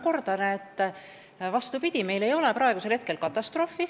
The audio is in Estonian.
Kordan veel: vastupidi, meil ei ole praegu katastroofi.